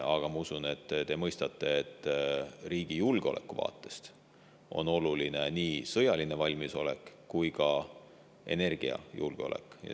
Aga ma usun, et te mõistate, et riigi julgeoleku vaatest on oluline nii sõjaline valmisolek kui ka energiajulgeolek.